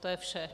To je vše.